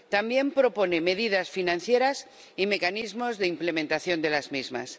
También propone medidas financieras y mecanismos de implementación de las mismas.